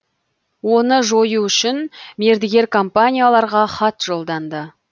оны жою үшін мердігер компанияларға хат жолданды